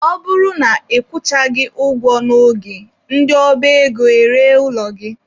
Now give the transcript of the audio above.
Ọ bụrụ na ị kwụchaghị ụgwọ n'oge, ndị ọba ego eree ụlọ gị.